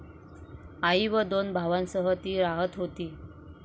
आई व दोन भावांसह ती राहत होती.